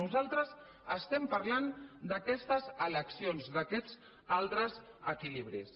nosaltres estem parlant d’aquestes eleccions d’aquests altres equilibris